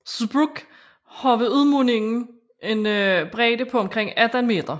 Zbruch har ved udmundingen en bredde på omkring 18 meter